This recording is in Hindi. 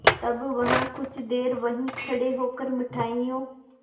तब वह कुछ देर वहीं खड़े होकर मिठाइयों